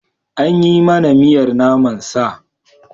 An yi mana miyar naman sa.